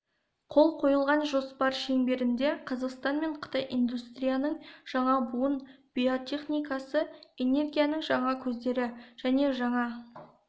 қол қойылған жоспар шеңберінде қазақстан мен қытай индустрияның жаңа буын биотехнологиясы энергияның жаңа көздері және жаңа